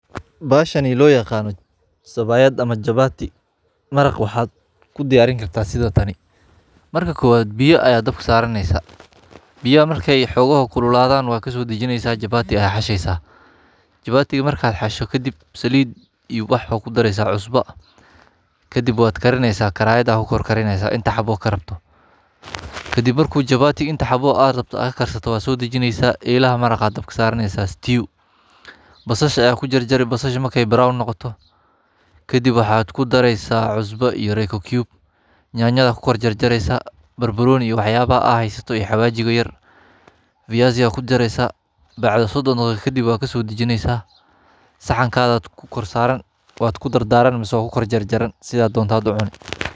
Bahaashani loo yaqaano sabayaad ama chapati maraaqa waxa kuu diyariin kaarta sidaa taani. markaa kowaad biya aya daabka saraneysa biyaaha markey xogooho kululaadan waa kasoo daajineysa chapati ayaa xasheysaa. japatika markaa xaashto kaadib saliid iyo wax baa kuu dareysa cusba. kadiib waad kaarineysa karaayada kuu kor karineeysa intaa xaabo kaa rabto kaadib marku japatiiga intaa xaabo aad rabto aad kaarsato waa soo dajineysa elaaha maraaqa dabka saraneysa stew. basashaa ayaa kuu jaarjari basashaa markee brown noqoto kadiib waxa ku dareysaa cusbo iyo reyko cube yanyadaa kuu kor jaarjareysa, barbaaroni iyo waxyabaha aa haysato iyo xawajiigo yaar, fiyasigaa kuu jareysaa, bacdaa sodoon daqiiqo kadiib waad kaso dajiineysa. saxankaagad kuu kor saraan waad kuu dardaraan maseh waad kuu kor jaarjaran sidaa dontaad uu cunii.